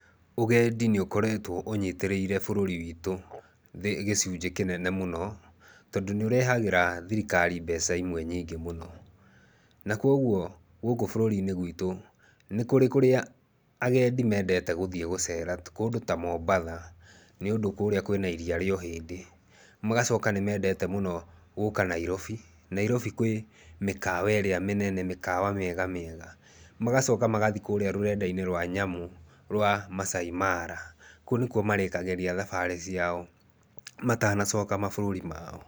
Ũgendi nĩ ũkoretwo ũnyitĩrĩire bũrũri witũ gĩcunjĩ kĩnene mũno tondũ nĩ ũrehagĩra thirikari mbeca imwe nyingĩ mũno. Na kwoguo gũkũ bũrũri-inĩ gwitũ nĩ kũrĩ kũrĩa agendi meendete gũthiĩ gũcera. Ti kũndũ ta Mombatha, nĩũndũ kũrĩa kwĩna Iria Rĩa Ũhĩndĩ. Magacoka nĩ meendete mũno gũka Nairobi. Nairobi kwĩ mĩkawa ĩrĩa mĩnene, mĩkawa mĩega mĩega. Magacoka magathiĩ kũrĩa rũrenda-inĩ rwa nyamũ rwa Maasai Mara, kũu nĩkuo marĩkagĩria thabarĩ ciao matanacoka mabũrũri mao.